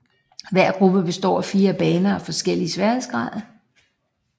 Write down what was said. Hver gruppe består af fire baner af forskellig sværhedsgrad